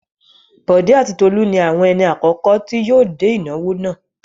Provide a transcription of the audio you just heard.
Bọ̀dé àti Tolú ni àwọn ẹni àkọ́kọ́ tí yóò dé ìnáwó náà.